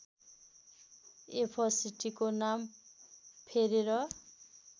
एफसीटीको नाम फेरेर